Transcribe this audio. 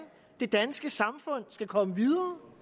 det danske samfund skal komme videre